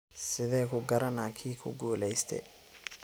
Sidhe kugarana kii kuguleyste.